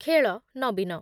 ଖେଳ ନବୀନ